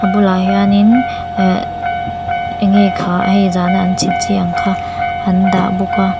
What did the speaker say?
bulah hianin ehh eng nge kha hei zana an chhit chi ang kha an dah bawk a.